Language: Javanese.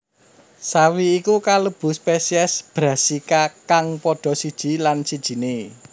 Sawi iku kalebu spesies Brassica kang padha siji lan sijiné